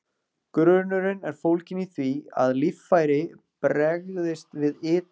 Grunnurinn er fólginn í því, að líffæri bregst við ytra áreiti.